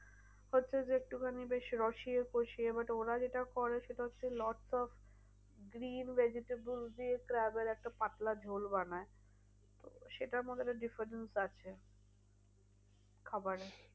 হচ্ছে যে একটুখানি বেশ রসিয়ে কষিয়ে but ওরা যেটা করে সেটা হচ্ছে lots of green vegetable দিয়ে একটা পাতলা ঝোল বানায় তো সেটার মধ্যে একটা defence আছে। খাবারে।